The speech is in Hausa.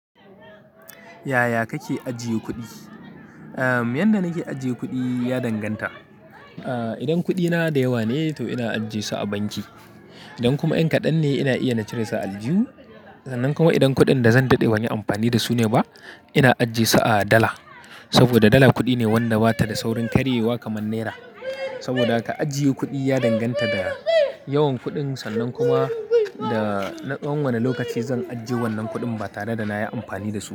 Yaya kake ajiye kuɗi? Yanda nake ajiye kuɗi ya danganta. Idan kuɗina da yawa ne, to ina ajiye su a banki. Idan kuma in kadan ne ina iya in cire su a aljuhu sannan kuma idan kuɗin da zan daɗe ban yi amfani da su ne ba, ina ajiye su a dala. Saboda dala kuɗi ne wanda bata da saurin karyewa kaman nera. Saboda haka ajiye kuɗi ya danganta da yawan kuɗin. Sannan kuma da na tsawon wane lokaci zan ajiye wannan kuɗin ba tare da na yi amfani da su ba.